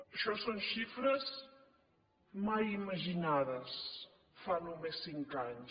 això són xifres mai imaginades fa només cinc anys